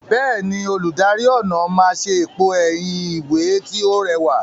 Bẹ́ẹ̀ni, olùdarí ọnà máa ṣe èpo ẹ̀yìn ìwé tí ó rẹwà.